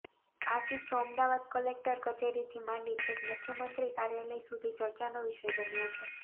આ કિસ્સો અમદાવાદ કલેકટર કચેરીથી માંડી છેક મુખ્યમંત્રી કાર્યાલય સુધી ચર્ચાનો વિષય બન્યો છે